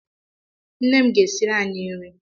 Nne m ga-esiri anyị nri.